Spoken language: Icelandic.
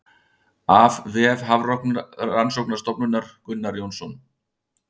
Af vef Hafrannsóknastofnunar Gunnar Jónsson.